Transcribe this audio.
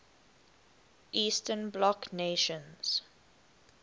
eastern bloc nations